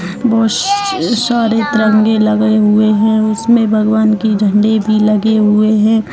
बहुत सारे तिरंगे लगे हुए है उसमे भगवान की झंडी भी लगे हुऐ है।